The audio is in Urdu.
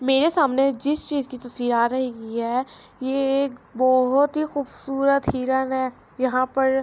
میرے سامنے جس چیز کی تصویر آرہی ہے یہ ایک بہت ہی قوبصورت ہرن ہے یہا پر